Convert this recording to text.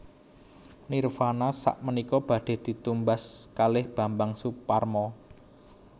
Nirvana sakmenika badhe ditumbas kalih Bambang Soeparmo